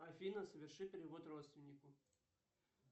афина соверши перевод родственнику